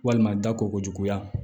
Walima da ko ko juguya